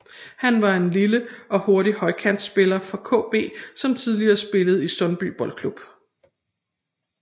Han var en lille og hurtig højrekantspiller fra KB som tidligere spillede i Sundby Boldklub